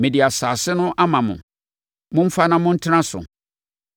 Mede asase no ama mo. Momfa na montena so.